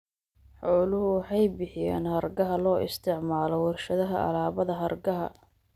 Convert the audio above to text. Xooluhu waxay bixiyaan hargaha loo isticmaalo warshadaha alaabada hargaha.